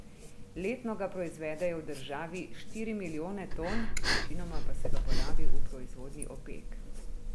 Letno ga proizvedejo v državi štiri milijone ton, večinoma pa se ga porabi v proizvodnji opek.